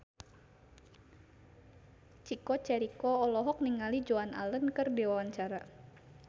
Chico Jericho olohok ningali Joan Allen keur diwawancara